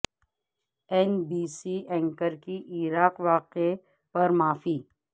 N B C anchor کی Iraq واقعے پر معافی